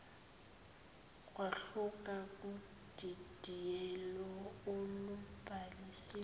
kwahluka kudidiyelo olubhalisiwe